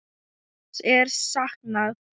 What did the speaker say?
Hans er saknað.